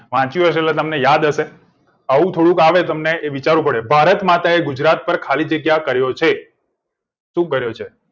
વાંચ્યું હશે એટલે તમને યાદ હશે આવું થોડું તો આવે તમને એ વિચારવું પડે ભારત માતા એ ગુજરાત પર ખાલી જગ્યા કર્યો છે શું કર્યો છે